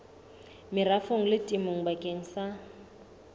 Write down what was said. merafong le temong bakeng sa